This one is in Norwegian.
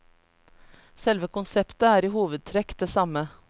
Selve konseptet er i hovedtrekk det samme.